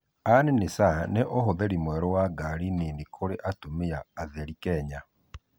An-nisaa: Nĩ ũhũthĩrĩ mwerũ wa ngarĩ nĩnĩ kũrĩ atũmĩa atherĩ Kenya